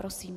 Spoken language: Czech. Prosím.